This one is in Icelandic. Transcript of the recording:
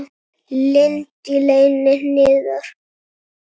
Lind í leyni niðar.